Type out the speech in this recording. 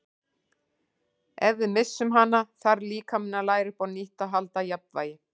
Ef við missum hana þarf líkaminn að læra upp á nýtt að halda jafnvægi.